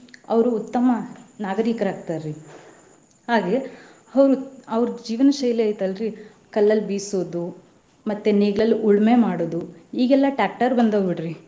ಅವ್ರು ಉತ್ತಮ ನಾಗರಿಕರಾಗ್ತಾರಿ ಹಾಗೆ ಅವ್ರ ಅವ್ರ ಜೀವನ ಶೈಲಿ ಐತಿ ಅಲ್ರಿ ಕಲ್ಲಲ್ಲಿ ಬಿಸೋದು, ಮತ್ತೆ ನೇಗಿಲಲ್ಲಿ ಉಳ್ಮೆ ಮಾಡೋದು ಈಗೆಲ್ಲಾ tractor ಬಂದಾವ್ ಬಿಡ್ರಿ.